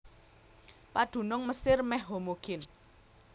Padunung Mesir mèh homogin